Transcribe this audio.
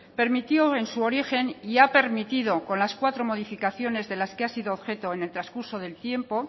permitió en su origen y ha permitido con las cuatro modificaciones de las que ha sido objeto en el trascurso del tiempo